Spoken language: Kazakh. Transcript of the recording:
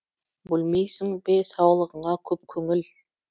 бөлмейсің бе саулығыңа көп көңіл